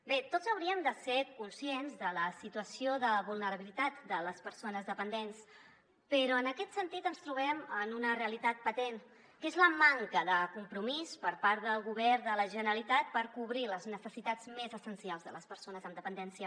bé tots hauríem de ser conscients de la situació de vulnerabilitat de les persones dependents però en aquest sentit ens trobem amb una realitat patent que és la manca de compromís per part del govern de la generalitat per cobrir les necessitats més essencials de les persones amb dependència